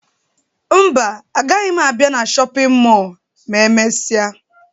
Mba, agaghị m abịa na shọpịn mọọ ma emesịa